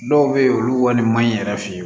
Dɔw bɛ yen olu wari man ɲi yɛrɛ fe